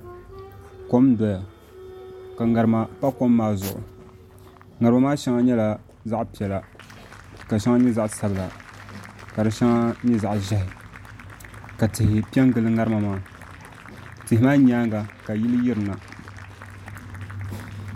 Kom n doya ka ŋarima pa kom maa zuɣu ŋarima maa shɛŋa nyɛla zaɣ piɛla ka di shɛŋa nyɛ zaɣ ʒiɛhi ka tihi piɛ n gili ŋarima maa tihi maa nyaanga ka yili yirina